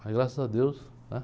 Mas graças a Deus, né?